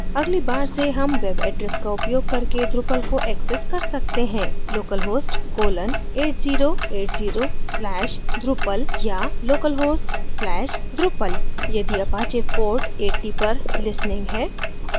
अगली बार से हम web address का उपयोग करके drupal को access कर सकते हैं localhost colon 8080 slash drupal या localhost slash drupal